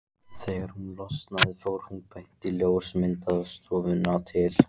Þegar hún losnaði fór hún beint á ljósmyndastofuna til